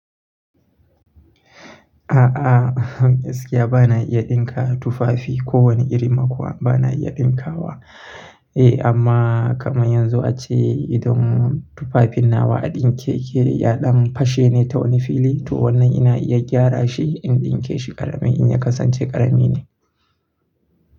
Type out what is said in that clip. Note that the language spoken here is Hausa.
A'a, gaskiya ba na iya ɗinka tufafi. Ko wani irin ma kuwa ba na iya ɗinkawa. Amma kamar yanzu a ce idan tufafin nawa a ɗinke yake ya ɗan fashe ta wani fili to wannan ina iya gyara shi in ɗinke shi ƙarami in ya kasance ƙarami ne.